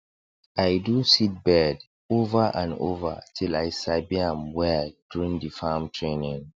i do seedbed over and over till i sabi am well during the farm training